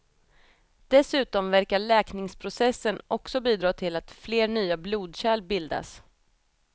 Dessutom verkar läkningsprocessen också bidra till att fler nya blodkärl bildas.